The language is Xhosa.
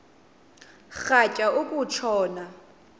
rhatya uku tshona